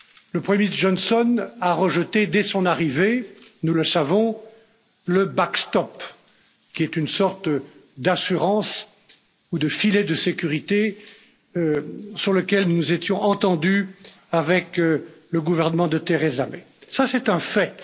Le premier ministre Johnson a rejeté dès son arrivée nous le savons le backstop qui est une sorte d'assurance ou de filet de sécurité sur lequel nous nous étions entendus avec le gouvernement de Theresa May C'est un fait.